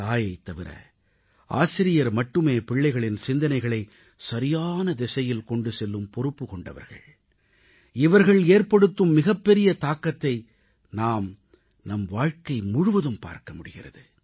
தாயைத் தவிர ஆசிரியர் மட்டுமே பிள்ளைகளின் சிந்தனைகளை சரியான திசையில் கொண்டு செல்லும் பொறுப்பு கொண்டவர்கள் இவர்கள் ஏற்படுத்தும் மிகப்பெரிய தாக்கத்தை நாம் நம் வாழ்க்கை முழுவதும் பார்க்க முடிகிறது